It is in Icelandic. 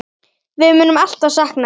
Við munum alltaf sakna þín.